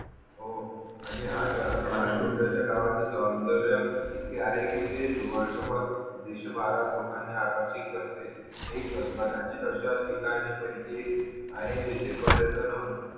हो आणि हाच छोट्यास्या गावात येतो सोयन्दर्य इतके आहे कि ते वर्ष भर दीडशे बारा लोकांनी आकर्षित करते एक कदाचित अशी ठिकाणी पाहिजे आहे तिथे पर्यटन हम